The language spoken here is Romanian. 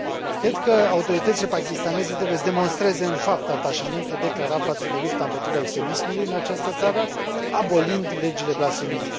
Cred că autoritățile pakistaneze trebuie să demonstreze în fapt atașamentul declarat față de lupta împotriva extremismului în această țară, abolind legile blasfemiei.